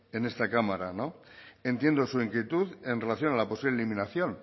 en esta cámara no entiendo su inquietud en relación a la posible eliminación